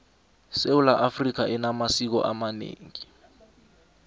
sewula afrika enamasiko amaneengi